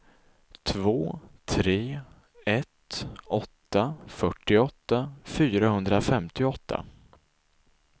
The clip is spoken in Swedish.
två tre ett åtta fyrtioåtta fyrahundrafemtioåtta